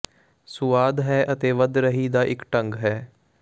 ਸੁਆਦ ਹੈ ਅਤੇ ਵਧ ਰਹੀ ਦਾ ਇੱਕ ਢੰਗ ਹੈ